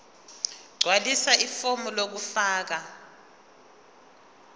gqwalisa ifomu lokufaka